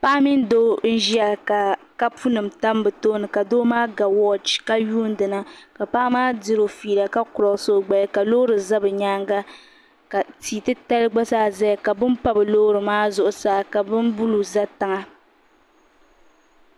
Paɣa mini doo n ʒiya ka kapunima tam bɛ tooni ka doo maa ga wochi ka yuundina ka paɣa maa diri o filla ka kuroosi o gbaya ka loori za bɛ nyaanŋa ka tia ti tali gba zaa zaya ka bini pa bɛ loorimaa ka bin buluu za tiŋa